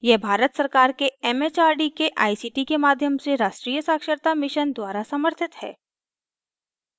यह भारत सरकार के it it आर डी के आई सी टी के माध्यम से राष्ट्रीय साक्षरता mission द्वारा समर्थित है